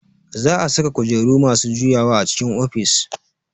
Za a saka kujeru masu juyawa a cikin ofis